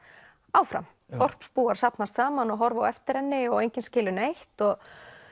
áfram þorpsbúar safnast saman og horfa á eftir henni og enginn skilur neitt og